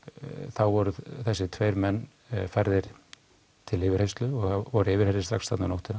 þá voru þessir tveir menn færðir til yfirheyrslu og voru yfirheyrðir strax þarna um nóttina